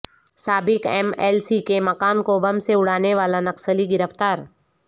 سابق M L C کے مکان کو بم سے اڑانے والا نکسلی گرفتار